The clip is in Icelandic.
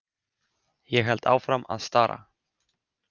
Ég held áfram að stara.